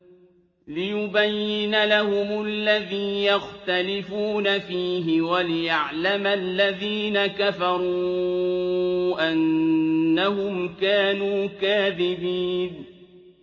لِيُبَيِّنَ لَهُمُ الَّذِي يَخْتَلِفُونَ فِيهِ وَلِيَعْلَمَ الَّذِينَ كَفَرُوا أَنَّهُمْ كَانُوا كَاذِبِينَ